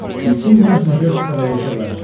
включи мне на смотрешке квн тв